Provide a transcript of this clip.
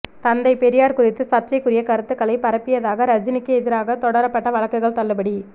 தந்தை பெரியார் குறித்து சர்ச்சைக்குரிய கருத்துக்களை பரப்பியதாக ரஜினிக்கு எதிராக தொடரப்பட்ட வழக்குகள் தள்ளுபடி